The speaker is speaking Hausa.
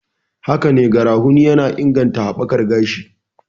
Hakane, garafuni yana inganta haɓakar gashi